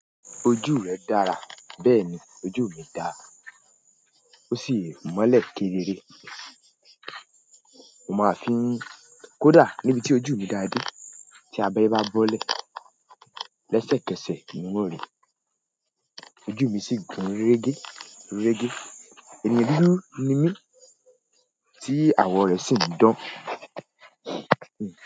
Ojú rẹ dára. Bẹ́ẹ̀ni ojú mi dáa. Ó sì mọ́lẹ̀ kédere. Mo máa fi n, kódà níbi tí ojú mi dáa dé tí abẹẹrẹ bá bọ́lẹ̀. Lẹ́sẹ̀kẹsẹ̀, ni un o ri. Ojú mi sì gùn rérége, rérége. Eyan dúdú ni mí tí àwọ̀ rẹ̀ sì ń dán.